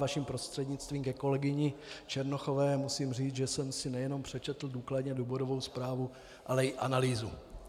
Vaším prostřednictvím ke kolegyni Černochové musím říct, že jsem si nejenom přečetl důkladně důvodovou zprávu, ale i analýzu.